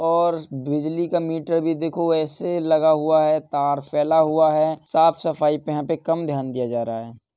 और स् बिजली का मीटर भी देखो ऐसे लगा हुआ है। तार फैला हुआ है। साफ़ सफाई पे यहाँ पे कम ध्यान दिया जा रहा है।